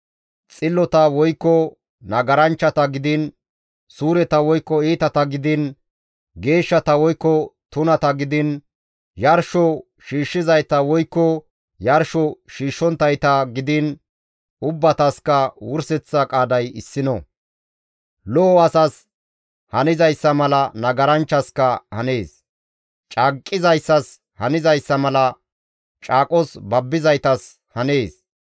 Xillota woykko nagaranchchata gidiin, suureta woykko iitata gidiin, geeshshata woykko tunata gidiin, yarsho shiishshizayta woykko yarsho shiishshonttayta gidiin ubbatasikka wurseththa qaaday issino. Lo7o asas hanzayssa mala nagaranchchaska hanees; caaqqizayssas hanizayssa malakka caaqos babbizaytas hanees.